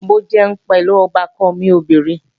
Mò ń jẹun pẹ̀lú ọbàkan mi obìnrin